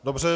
Dobře.